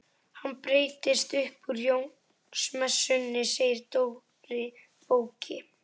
Hann breytist upp úr Jónsmessunni segir Dóri bóki.